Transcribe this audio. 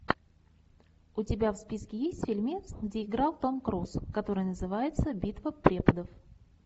у тебя в списке есть фильмец где играл том круз который называется битва преподов